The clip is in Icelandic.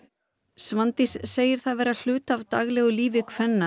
Svandís segir það vera hluta af daglegu lífi kvenna